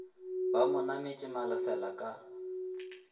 ba mo nametše malesela ka